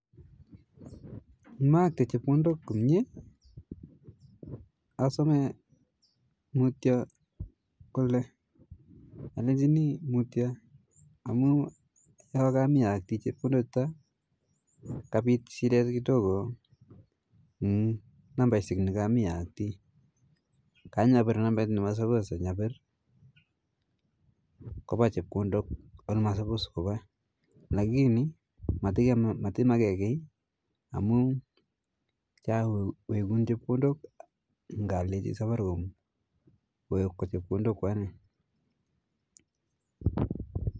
Ngimaakte chepkondok komye, asome mutyo kole alechini mutyo amu yoo kamii aaktii chepkondok chuto kapit shidet kidogo eng nambaishek kamii aaktii kanyapir nambet ne masupos anyapir kopa chepkondok oldo masupos kopa lakini matimakee kii amu chawekun chepkondok ngaleji safaricom kowekwa chepkondok kwanee